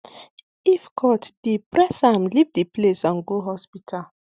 if cut deep press am lift the place and go hospital